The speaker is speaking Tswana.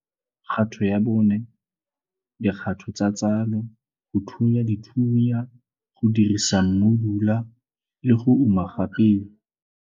KGATO YA 4 - DIKGATO TSA TSALO - GO THUNYA DITHUNYA, GO DIRISA MMUDULA LE GO UMA GA PEO.